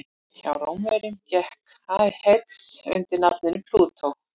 Hjá Rómverjum gekk Hades undir nafninu Plútó.